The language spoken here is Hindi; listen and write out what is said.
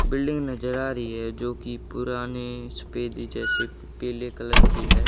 बिल्डिंग नजर आ रही है जोकि पुराने सफेदी जैसे पीले कलर की है।